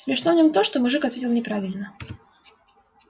смешно в нем то что мужик ответил неправильно